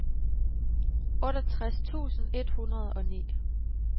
otteogtres tusind et hundrede og ni